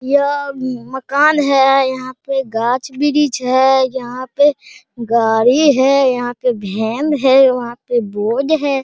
यह मकान है यहाँ पे गाछ-वृक्ष है यहाँ पे गाड़ी है यहाँ पे भेन है वहाँ पे बोर्ड है।